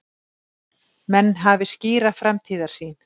Menn hafi skýra framtíðarsýn